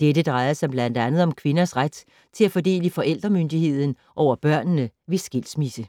Dette drejede sig bl.a. om kvindens ret til at få del i forældremyndigheden over børnene ved skilsmisse.